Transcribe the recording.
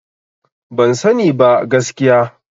Ban sani ba gaskiya.